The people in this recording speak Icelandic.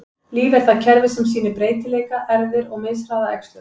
Líf er það kerfi sem sýnir breytileika, erfðir, og mishraða æxlun.